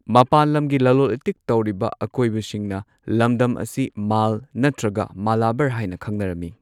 ꯃꯄꯥꯟ ꯂꯝꯒꯤ ꯂꯂꯣꯜ ꯢꯇꯤꯛ ꯇꯧꯔꯤꯕ ꯑꯀꯣꯏꯕꯁꯤꯡꯅ ꯂꯝꯗꯝ ꯑꯁꯤ ꯃꯥꯜ ꯅꯠꯇ꯭ꯔꯒ ꯃꯂꯥꯕꯔ ꯍꯥꯏꯅ ꯈꯪꯅꯔꯝꯃꯤ꯫